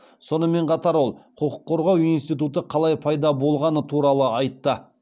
сонымен қатар ол құқық қорғау институты қалай пайда болғаны туралы айтты